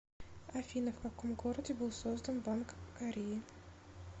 афина в каком городе был создан банк кореи